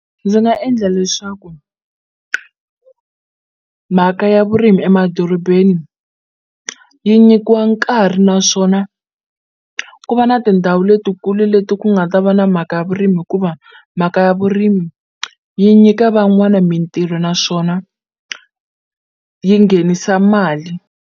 Ndzi nga endla leswaku mhaka ya vurimi emadorobeni yi nyikiwa nkarhi naswona ku va na ti ndhawu letikulu leti ku nga ta va na mhaka ya vurimi hikuva mhaka ya vurimi yi nyika van'wana mintirho naswona yi nghenisa mali.